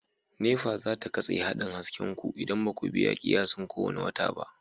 NEPA za ta katse haɗin hasken ku idan ba ku biya kiyasin kowane wata ba.